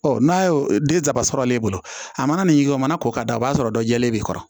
Ɔ n'a y'o den saba sɔrɔ ale bolo a mana nin yɔrɔ mana k'o kan o b'a sɔrɔ dɔ jɛlen b'i kɔrɔ